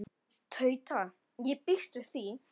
Tauta: Ég býst við því.